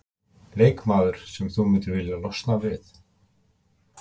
Leikmaður sem þú myndir vilja losna við?